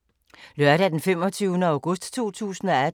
Lørdag d. 25. august 2018